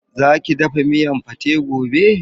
Zaki dafa miyan pate gobe.